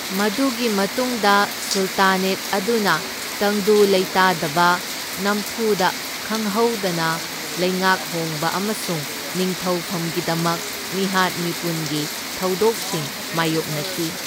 ꯃꯗꯨꯒꯤ ꯃꯇꯨꯡꯗ, ꯁꯨꯜꯇꯥꯅꯦꯠ ꯑꯗꯨꯅ ꯇꯪꯗꯨ ꯂꯩꯇꯥꯗꯕ, ꯅꯝꯐꯨꯗ ꯈꯪꯍꯧꯗꯅ ꯂꯩꯉꯥꯛ ꯍꯣꯡꯕ ꯑꯃꯁꯨꯡ ꯅꯤꯡꯊꯧꯐꯝꯒꯤꯗꯃꯛ ꯃꯤꯍꯥꯠ ꯃꯤꯄꯨꯟꯒꯤ ꯊꯧꯗꯣꯛꯁꯤꯡ ꯃꯥꯢꯌꯣꯛꯅꯈꯤ꯫